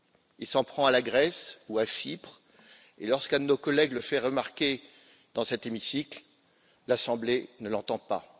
Il s'en prend à la Grèce ou à Chypre, et lorsqu'un de nos collègues le fait remarquer dans cet hémicycle, l'Assemblée ne l'entend pas.